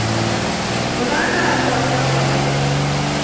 мынаның ар жағы да бар ғой